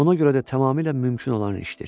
Ona görə də tamamilə mümkün olan işdir.